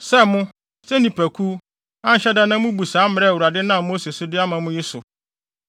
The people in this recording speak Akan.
“ ‘Sɛ mo, sɛ nnipakuw, anhyɛ da na mubu saa mmara a Awurade nam Mose so de ama mo yi so,